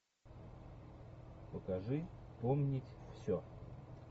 покажи помнить все